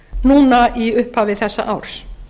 núna í upphafi þessa árs